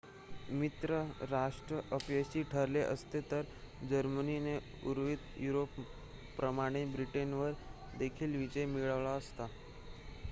मित्र राष्ट्र अपयशी ठरले असते तर जर्मनीने उर्वरित युरोपप्रमाणे ब्रिटनवर देखील विजय मिळवला असता